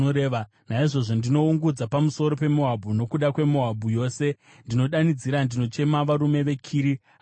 Naizvozvo ndinoungudza pamusoro peMoabhu, nokuda kweMoabhu yose ndinodanidzira, ndinochema varume veKiri Hareseti.